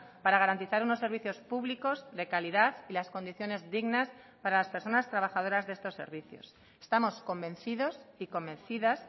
para garantizar unos servicios públicos de calidad y las condiciones dignas para las personas trabajadoras de estos servicios estamos convencidos y convencidas